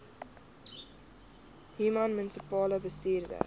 human munisipale bestuurder